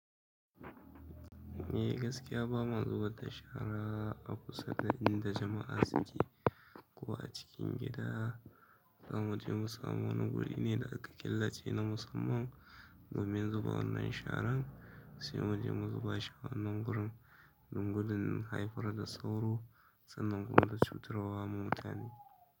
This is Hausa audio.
Eh gaskiya ba ma zubar da shara a kusa da inda jama'a suke, ko acikin gida zamu je musamu wani guri ne da aka killace na musamman domin zuba wannan sharan. Sai mu je mu zubashu a wannan gurin, don gudun haifar da sauro sannan kuma da cutarawa ma mutane.